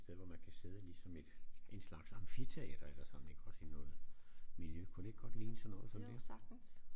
Et sted hvor man kan sidde ligesom et en slags amfiteater eller sådan det kunne også ligne noget miljø kunne det ikke godt ligne sådan noget som det